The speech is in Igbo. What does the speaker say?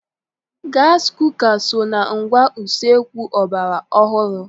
Gasị kuka so na ngwá usekwu ọgbara ọhurụ.